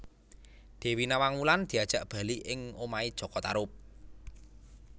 Dewi Nawang Wulan diajak bali ing omahé jaka Tarub